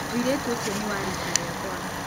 Mũirĩtu ũcio nĩ wa riika rĩakwa.